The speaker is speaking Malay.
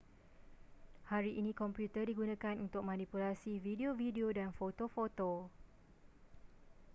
hari ini komputer digunakan untuk manipulasi video-video dan foto-foto